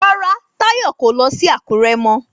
Rárá Táyọ̀ kò lọ sí Àkúré mọ